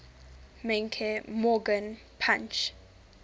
menke morgan punch